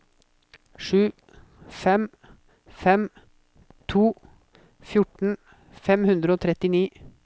sju fem fem to fjorten fem hundre og trettini